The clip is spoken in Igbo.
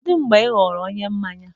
Kedu mgbe ị ghọrọ onye mmanya?